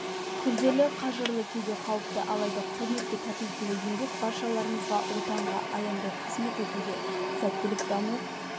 күрделі қажырлы кейде қауіпті алайда құрметке татитындай еңбек баршаларыңызға отанға аянбай қызмет етуде сәттілік даму